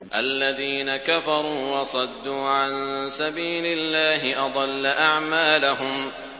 الَّذِينَ كَفَرُوا وَصَدُّوا عَن سَبِيلِ اللَّهِ أَضَلَّ أَعْمَالَهُمْ